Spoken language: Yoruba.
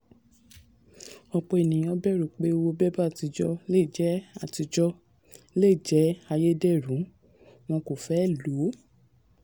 ọ̀pọ̀ ènìyàn bẹ̀rù pé owó bébà àtijọ́ lè jẹ́ àtijọ́ lè jẹ́ ayédèrú wọ́n kò fẹ́ lo o.